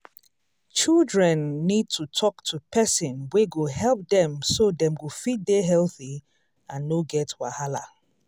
children need to talk to person wey go help dem so dem go fit dey healthy and no get wahala